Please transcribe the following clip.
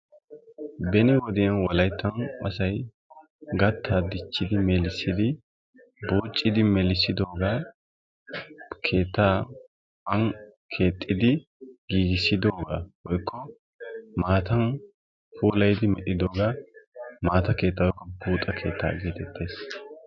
Beni wodiyan wolayittan asay gattaa dichchidi melisidi buuccidi melissidoogaa keettaa an keexxidi giigissidoogaa woykko maatan puulayidi medhidooga maata keettaa woykko buuxa keettaa geetettees.